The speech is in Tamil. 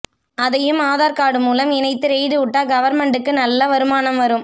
அதையும் ஆதார் கார்டு மூலம் இணைத்து ரெய்டு உட்டா கவர்மென்ட் கு நல்ல வருமானம் வரும்